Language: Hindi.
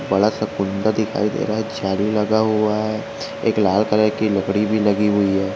बड़ा सा कुंदा दिखाई दे रहा है जाली लगा हुआ है एक लाल कलर की लकड़ी भी लगी हुई है।